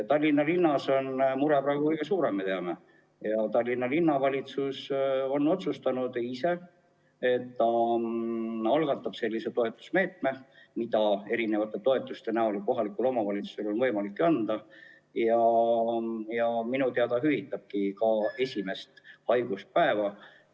Tallinnas on mure praegu kõige suurem, nagu me teame, ja linnavalitsus ongi otsustanud võtta kasutusele sellise toetusmeetme – kohalikul omavalitsusel endal on võimalik mitmesuguseid toetusi anda –, et minu teada hüvitabki esimese haiguspäeva.